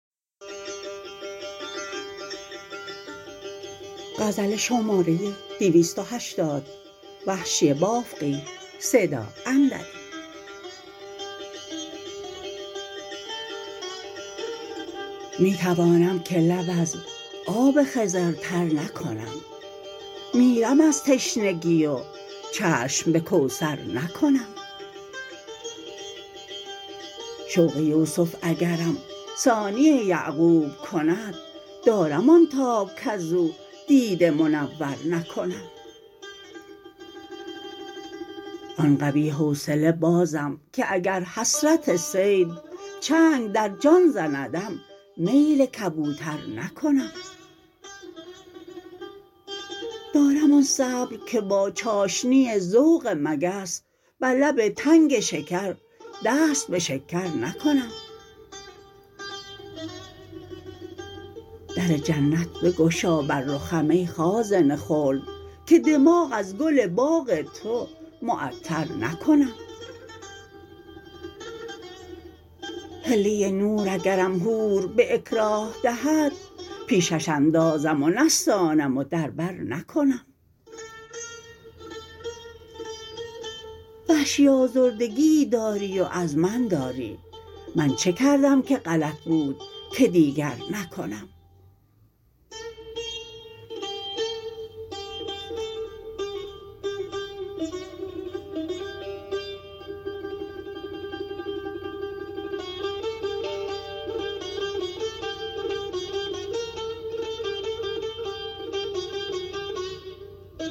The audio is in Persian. می توانم که لب از آب خضر تر نکنم میرم از تشنگی و چشم به کوثر نکنم شوق یوسف اگرم ثانی یعقوب کند دارم آن تاب کز او دیده منور نکنم آن قوی حوصله بازم که اگر حسرت صید چنگ در جان زندم میل کبوتر نکنم دارم آن صبر که با چاشنی ذوق مگس بر لب تنگ شکر دست به شکر نکنم در جنت بگشا بر رخم ای خازن خلد که دماغ از گل باغ تو معطر نکنم حله نور اگرم حور به اکراه دهد پیشش اندازم و نستانم و در بر نکنم وحشی آزردگیی داری و از من داری من چه کردم که غلط بود که دیگر نکنم